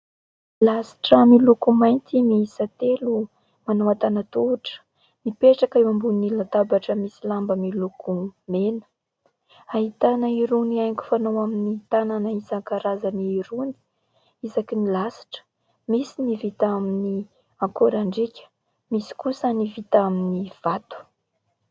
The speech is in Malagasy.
Lasitra miloko mainty miisa telo manao antanan-tohatra mipetraka eo ambony latabatra miloko mena. Ahitana irony haingo fanao amin'ny tanana isan-karazany irony isakin'ny lasitra. Misy ny vita amin'ny akorandriaka, misy kosa ny vita amin'ny vato.